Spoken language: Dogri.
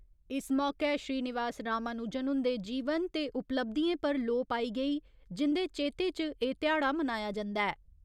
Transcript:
इस मौके श्रीनिवास रामानुजन हुन्दे जीवन ते उपलब्धिएं पर लोऽ पाई गेई जिन्दे चेते च एह् ध्याड़ा मनाया जन्दा ऐ।